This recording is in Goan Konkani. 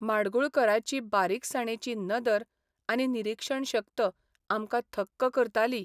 माडगूळकराची बारिकसाणेची नदर आनी निरीक्षणशक्त आमकां थक्क करताली.